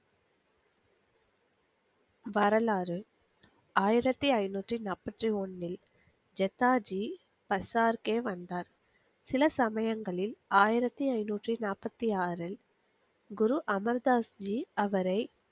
வரலாறு ஆயிரத்தி ஐநூத்தி நாப்பத்தி ஒன்னில் ஜெஷாஜி பசார்கே வந்தார் சில சமயங்களில் ஆயிரத்தி ஐநூத்தி நாப்பத்தி ஆறில் குரு அமல்தாஷ்ணி அவரை